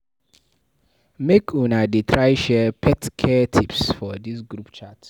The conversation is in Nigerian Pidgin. Make una dey try share pet care tips for dis group chat.